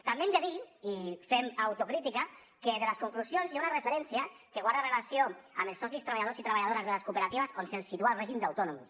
també hem de dir i fem autocrítica que a les conclusions hi ha una referència que guarda relació amb els socis treballadors i treballadores de les cooperatives on se’ls situa el règim d’autònoms